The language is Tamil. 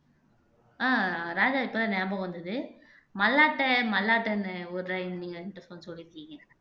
ஆஹ் ராஜா இப்பதான் ஞாபகம் வந்தது மல்லாட்டை மல்லாட்டன்னு ஒரு நீங்க எங்கிட்ட சொல் சொல்லிருக்கீங்க